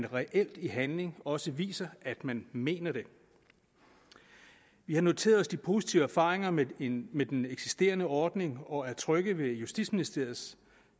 reelt i handling også viser at man mener det vi har noteret os de positive erfaringer med den med den eksisterende ordning og er trygge ved justitsministeriets